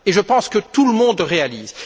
Et je pense que tout le monde le réalise.